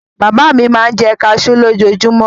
Bàbá mi máa ń jẹ kaṣú lójoojúmọ́.